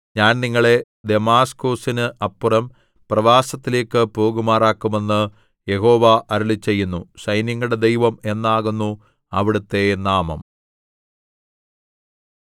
ഞാൻ നിങ്ങളെ ദമാസ്കൊസിന് അപ്പുറം പ്രവാസത്തിലേയ്ക്ക് പോകുമാറാക്കും എന്ന് യഹോവ അരുളിച്ചെയ്യുന്നു സൈന്യങ്ങളുടെ ദൈവം എന്നാകുന്നു അവിടുത്തെ നാമം